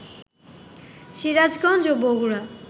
সিরাজগঞ্জ ও বগুড়া